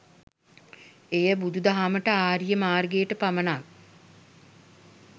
එය බුදුදහමට, ආර්ය මාර්ගයට පමණක්